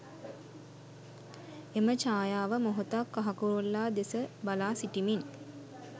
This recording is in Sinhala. එම චායාව මොහොතක් කහ කුරුල්ලා දෙස බලා සිටිමින්